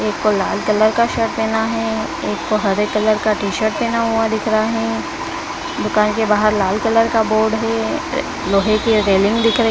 एक को लाल कलर का शर्ट पहना है एक को हरे कलर का टी-शर्ट पहना हुआ दिख रहा है दुकान के बाहर लाल कलर का बोर्ड है अ लोहे की रेलिंग दिख रही--